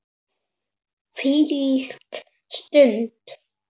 Hvílík stund.